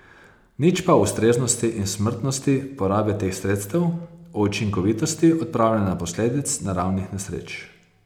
Nič pa o ustreznosti in smotrnosti porabe teh sredstev, o učinkovitosti odpravljanja posledic naravnih nesreč.